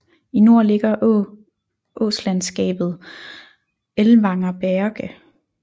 I nord ligger åslandskabet Ellwanger Berge